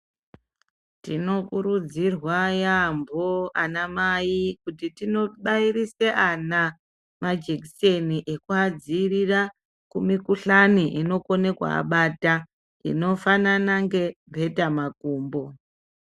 Tinokurudzirwa yaamho anamai kuti tinobairise ana majekiseni ekuadzivirira kumukhuhlane inokone kuabata, inofanana ngemhetamakumbo.